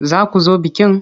Za ku zo bikin?